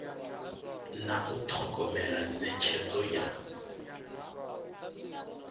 na u thogomela netshedzo ya